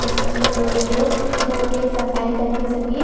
मछलियों को तोल के धो के सफाई कर के सभी--